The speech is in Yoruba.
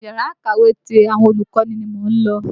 Yàrá-ìkàwé ti àwọn olùkọ́ni ni mò ń lọ.